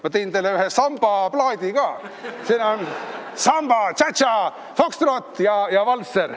Ma tõin teile ühe sambaplaadi ka, siin on peal samba, tša-tša-tšaa, fokstrott ja valtser.